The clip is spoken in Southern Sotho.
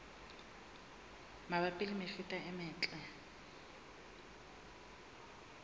mabapi le mefuta e metle